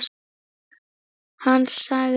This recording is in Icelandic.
Hann sagði